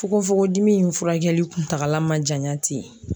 Fokofokodimi in furakɛli kuntagala man janya ten.